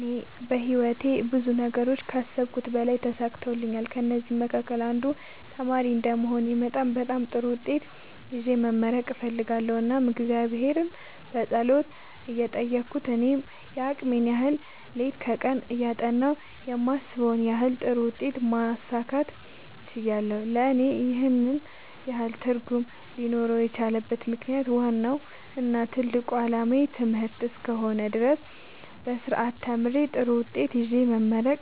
እኔ በህይወቴ ብዙ ነገሮችን ከአሰብሁት በላይ ተሳክተውልኛል ከእነዚህም መካከል አንዱ ተማሪ እንደመሆኔ መጠን በጣም ጥሩ ውጤት ይዤ መመረቅ እፈልጋለሁ እናም እግዚአብሔርን በጸሎት እየጠየቅሁ እኔም የአቅሜን ያህል ሌት ከቀን እያጠናሁ የማስበውን ያንን ጥሩ ውጤት ማሳካት ችያለሁ ለእኔ ይህን ያህል ትርጉም ሊኖረው የቻለበት ምክንያት ዋናው እና ትልቁ አላማዬ ትምህርት እስከ ሆነ ድረስ በስርአት ተምሬ ጥሩ ውጤት ይዤ መመረቅ